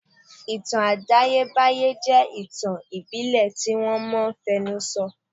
Ìtàn àtayébáyé jẹ́ àwọn ìtàn ìbílẹ̀ tí wọ́n máa n fẹnu sọ